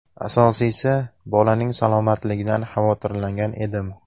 Asosiysi, bolaning salomatligidan xavotirlangan edim.